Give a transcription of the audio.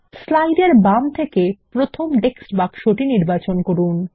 slide এর বাম থেকে প্রথম টেক্সট বাক্সটি নির্বাচন করুন